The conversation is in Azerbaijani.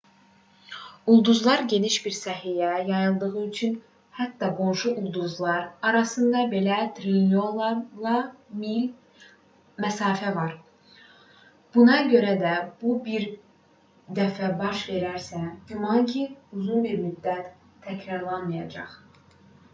ulduzlar geniş bir sahəyə yayıldığı üçün hətta qonşu ulduzlar arasında belə trilyonlarla mil məsafə var buna görə də bu bir dəfə baş verərsə güman ki uzun bir müddət təkrarlanmayacaq